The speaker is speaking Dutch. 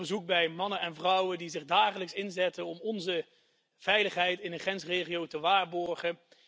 Ik bezocht er mannen en vrouwen die zich dagelijks inzetten om onze veiligheid in de grensregio te waarborgen.